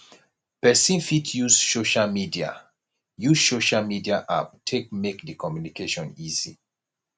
person fit use social media use social media app take make di communication easy